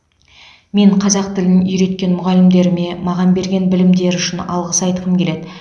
мен қазақ тілін үйреткен мұғалімдеріме маған берген білімдері үшін алғыс айтқым келеді